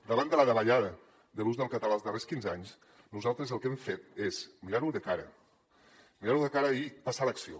davant de la davallada de l’ús del català els darrers quinze anys nosaltres el que hem fet és mirar ho de cara mirar ho de cara i passar a l’acció